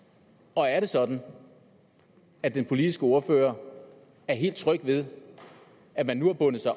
og er det sådan at den politiske ordfører er helt tryg ved at man nu har bundet sig